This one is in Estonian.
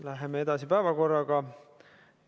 Läheme päevakorraga edasi.